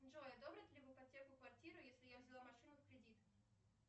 джой одобрят ли в ипотеку квартиру если я взяла машину в кредит